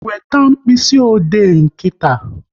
Weta mkpịsị ode nkịta!